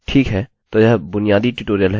ठीक है तो यह बुनियादी ट्यूटोरियल है